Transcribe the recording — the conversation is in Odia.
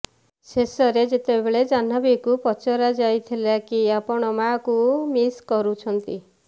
ଶେଷରେ ଯେତେବେଳେ ଜହ୍ନବୀଙ୍କୁ ପଚରା ଯାଇଥିଲା କି ଆପଣ ମାଆଙ୍କୁ ମିସ୍ କରୁଛନ୍ତି